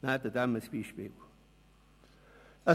Nehmen wir uns ein Beispiel an ihm.